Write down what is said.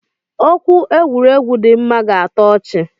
Okwu egwuregwu dima ga atọ ọchi.